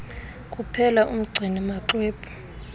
kuphela umgcini maxwebhu